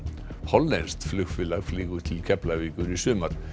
hollenskt flugfélag flýgur til Keflavíkur í sumar